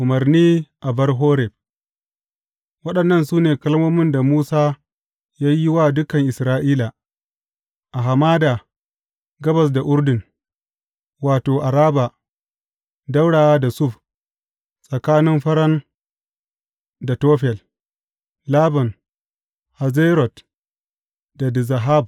Umarni a bar Horeb Waɗannan su ne kalmomin da Musa ya yi wa dukan Isra’ila, a hamada gabas da Urdun, wato, Araba, ɗaura da Suf, tsakanin Faran da Tofel, Laban, Hazerot da Dizahab.